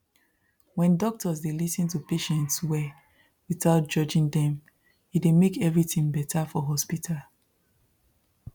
when doctors dey lis ten to patients well without judging dem e dey make everything better for hospital